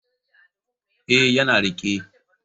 Ee, yana riƙe.